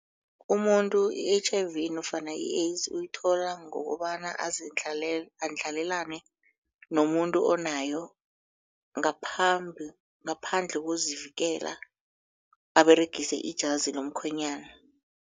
Umuntu i-H_I_V nofana i-AIDS uyithola ngokobana andlalelane nomuntu onayo ngaphandle kokuzivikela aberegise ijazi lomkhwenyana.